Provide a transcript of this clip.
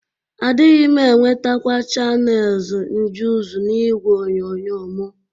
Adịghị m enwetekwa Chanelz Njuz n'igwe onyonyo mụ.